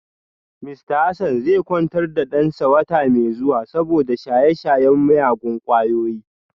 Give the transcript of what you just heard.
Mista Hassan zai kwantar da dansa wata mai zuwa saboda shaye-shayen miyagun kwayoyi